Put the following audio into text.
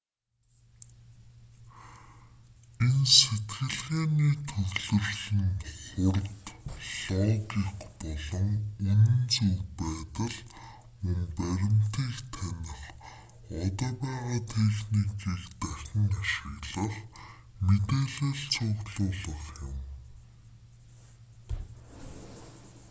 энэ сэтгэлгээний төвлөрөл нь хурд логик болон үнэн зөв байдал мөн баримтыг таних одоо байгаа техникийг дахин ашиглах мэдээлэл цуглуулах юм